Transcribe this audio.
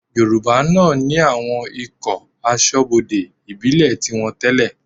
Yorùbá náà ní àwọn ikọ̀ aṣọ́bodè ìbílẹ̀ tiwọn tẹ́lẹ̀